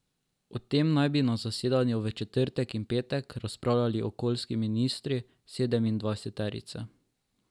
O tem naj bi na zasedanju v četrtek in petek razpravljali okoljski ministri sedemindvajseterice.